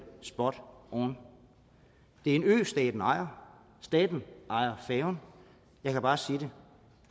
spot on det er en ø staten ejer staten ejer færgen jeg kan bare sige